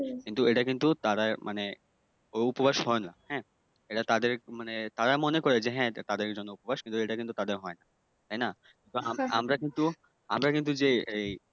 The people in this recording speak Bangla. কিন্তু এটা কিন্তু তারা মানে উপবাস হয়না এটা তাদের মানে তারা মনে করে যে হ্যাঁ তাদের জন্য উপবাস কিন্তু এটা কিন্তু তাদের হয় না তাইনা? আমরা কিন্তু যেই আমরা কিন্তু যেই